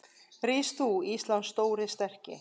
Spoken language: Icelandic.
Rís þú, Íslands stóri, sterki